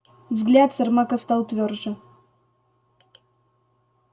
взгляд сермака стал твёрже